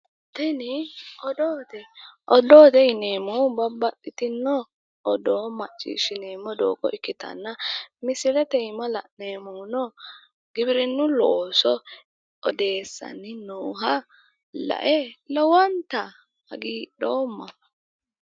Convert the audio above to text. Tini odoote. Odoote yineemmohu babbaxxitinno odoo macciishshineemmo doogo ikkitanna misilete iima la'neemmohuno giwirinnu looso odeessanni nooha lae lowonta hagiidhoomma.